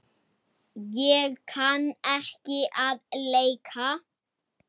Ég kann ekki að leika.